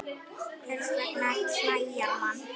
Hvers vegna klæjar mann?